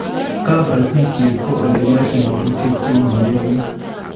Kaabratisyeet ko ole kiratee maabusyeek che kileelyo